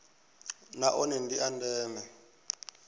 na one ndi a ndeme